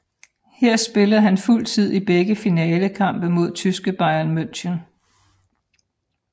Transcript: Her spillede han fuld tid i begge finalekampe mod tyske Bayern München